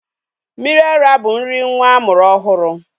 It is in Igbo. Mmiri ara bụ nri nwa amụrụ ọhụrụ.